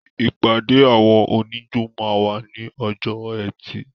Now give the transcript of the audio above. ìpàdé àwọn oníjó máa wà ní ọjọ́ ẹtì.